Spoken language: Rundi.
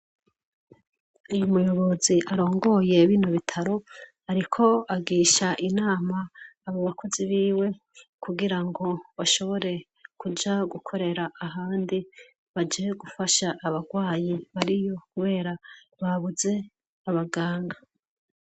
Umuyobozi arongoye bino bitaro ariko agirisha inama abo bakozi biwe kugirango bashobore kuja gukorera ahandi baje gufasha abarwayi bariyo kubera babuze abaganga